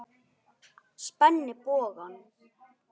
Spenni bogann.